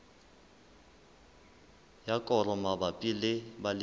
ya koro mabapi le balemi